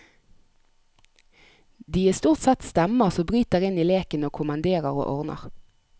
De er stort sett stemmer som bryter inn i leken og kommanderer og ordner.